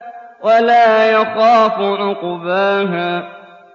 وَلَا يَخَافُ عُقْبَاهَا